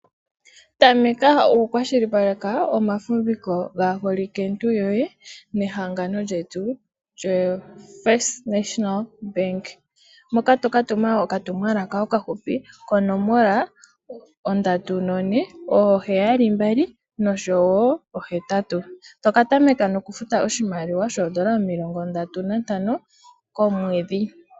Tameka oku kwashilipaleka omafumbiko gaaholike ntu yoye nehangano lyetu lyo FNB. Moka toka tuma okatumwalaka okahupi konomola 34778,toka tameka nokufuta oshimaliwa shoondola omilongo ndatu nantano komwedhi.